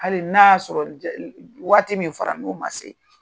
Hali n'a y'a sɔrɔ waati min fɔra n'o ma se.